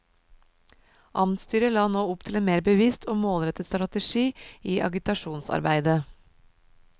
Amtsstyret la nå opp til en mer bevisst og målrettet strategi i agitasjonsarbeidet.